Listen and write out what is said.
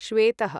श्वेतः